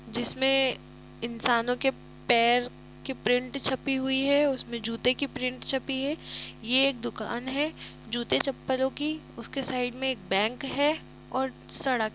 जिसमें इंसानों के पैर की प्रिंट छपी हुई है उसमें जूते की प्रिंट छपी है ये एक दुकान है जूते चप्पलों की उसके साइड में एक बैंक है और सड़क --